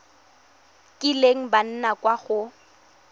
kileng ba nna kwa go